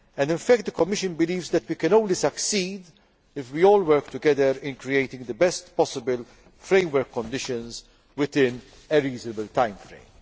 In fact the Commission believes that we can only succeed if we all work together in creating the best possible framework conditions within a reasonable timeframe.